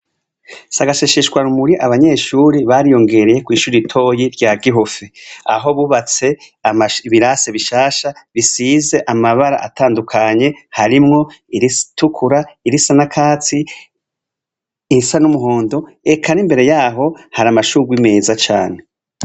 Si agashisheshwa rumuri abanyeshuri bariyongereye kw'ishura itoyi rya gihufi aho bubatse ibirase bishasha bisize amabara atandukanye harimwo iritukura irisa nakatsi irisa n'umuhondo eka n'imbere yaho hari amashurwa imeza cane.